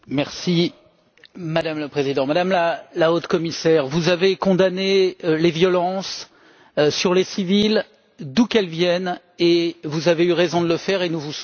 Madame la Présidente, Madame la Haute Représentante, vous avez condamné les violences sur les civils, d'où qu'elles viennent, et vous avez eu raison de le faire et nous vous soutenons totalement.